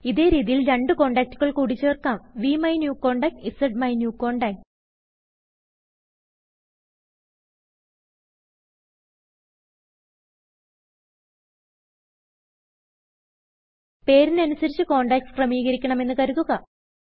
ഇതേ രീതിയിൽ രണ്ടു കോണ്ടാക്റ്റുകൾ കുടി ചേർക്കാംVMyNewContact സ്മൈന്യൂകോണ്ടാക്ട് പേരിന് അനുസരിച്ച് കോണ്ടാക്ട്സ് ക്രമീകരിക്കണമെന്ന് കരുതുക